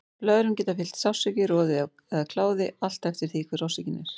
Blöðrum geta fylgt sársauki, roði eða kláði, allt eftir því hver orsökin er.